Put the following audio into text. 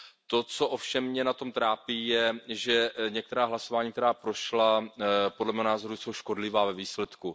To, co ovšem mě na tom trápí, je, že některá hlasování, která prošla, podle mého názoru jsou škodlivá ve výsledku.